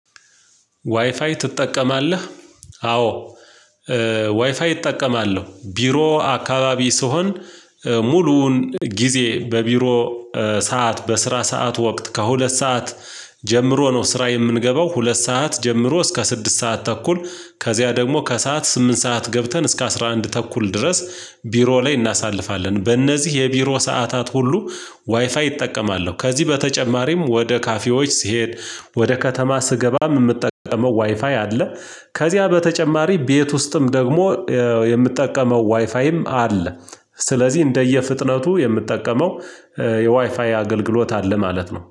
ዋይፋይ ትጠቀማለህ? አዎ። ዋይፋይ እጠቀማለሁ ቢሮ አካባቢ ስሆን ሙሉውን ጊዜ በቢሮ ሰዓት በስራ ሰዓት ወቅት ከሁለት ሰዓት ጀምሮ ነው ስራ የምንገባው ሁለት ሰዓት ጀምሮ እስከ ስድስት ሰዓት ተኩል ከዚያ ደግሞ ከሰአት ስምንት ሰዓት ገብተን እስከ አስራ አንድ ተኩል ድረስ ቢሮ ላይ እናሳልፋለን በእነዚህ የቢሮ ሰዓታት ሁሉ ዋይፋይ እጠቀማለሁ። ከዚህ በተጨማሪም ወደ ካፌዎች ስሄድ ወደ ከተማ ስገባም የምጠቀመው ዋይፋይ አለ። ከዚያ በተጨማሪ ቤት ውስጥም ደግሞ የምጠቀመው ዋይፋይም አለ። ስለዚህ እንደየ ፍጥነቱ የምጠቀመው የዋይፋይ አገልግሎት አለ ማለት ነው